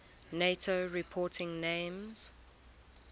nato reporting names